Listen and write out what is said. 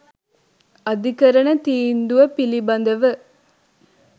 "අධිකරණ තීන්දුව පිළිබඳව